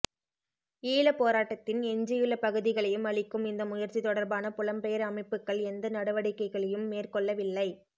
ஈழப் போராட்டத்தின் எஞ்சியுள்ள பகுதிகளையும் அழிக்கும் இந்த முயற்சி தொடர்பான புலம் பெயர் அமைப்புக்கள் எந்த நடவடிக்கைகளையும் மேற்கொள்ளவில்லை